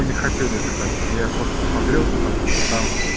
мы не хотели заказ я просто смотрел потому что там